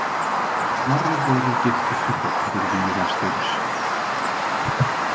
Snorri goði giftist svo dóttur Víga- Styrrs.